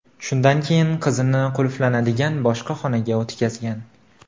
Shundan keyin qizini qulflanadigan boshqa xonaga o‘tkazgan.